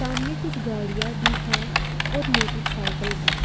सामने कुछ गाड़ियां भी है और मोटरसाइकल भी।